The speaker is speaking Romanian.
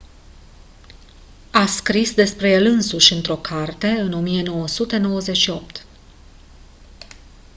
a scris despre el însuși într-o carte în 1998